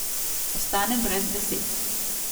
Ostanem brez besed.